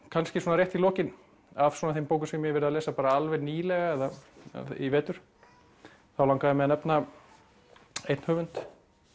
kannski svona rétt í lokin af þeim bókum sem ég hef verið að lesa alveg nýlega eða í vetur þá langaði mig að nefna einn höfund